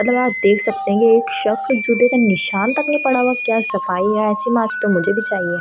मतलब आप देख सकते हैं एक शख्स जूते का निशान तक नहीं पड़ा हुआ क्या सफाई है ऐसी मैट मुझे भी चाहिए।